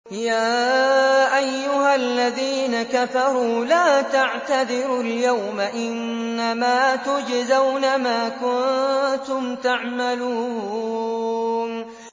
يَا أَيُّهَا الَّذِينَ كَفَرُوا لَا تَعْتَذِرُوا الْيَوْمَ ۖ إِنَّمَا تُجْزَوْنَ مَا كُنتُمْ تَعْمَلُونَ